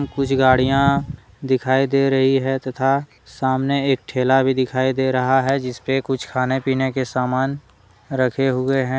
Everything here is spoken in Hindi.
कुछ गाड़ियां दिखाई दे रही है तथा सामने एक ठेला भी दिखाई दे रहा है जिसपे कुछ खाने पीने का सामान रखे हुए हैं।